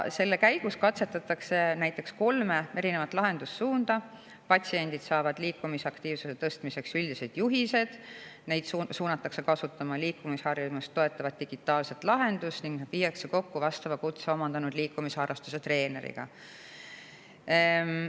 Selle käigus katsetatakse näiteks kolme lahendussuunda: patsiendid saavad liikumisaktiivsuse tõstmiseks üldised juhised, neid suunatakse kasutama liikumisharjumust toetavat digitaalset lahendust ning nad viiakse kokku vastava kutse omandanud liikumisharrastustreeneriga.